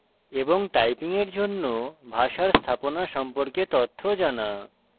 typing এর জন্য ভাষার স্থাপনা সম্পর্কে তথ্য জানা